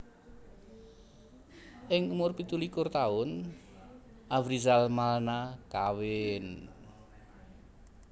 Ing umur pitu likur taun Afrizal Malna kawin